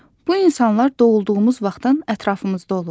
Bu insanlar doğulduğumuz vaxtdan ətrafımızda olurlar.